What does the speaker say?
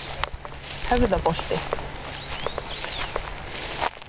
Höfðaholti